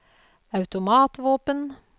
automatvåpen